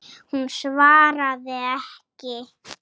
Hún svaraði ekki.